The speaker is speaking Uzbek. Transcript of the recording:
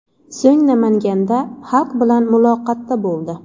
So‘ng Namanganda xalq bilan muloqotda bo‘ldi .